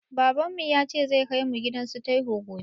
Baban mu yace zai kai mu gidan su taiwo gobe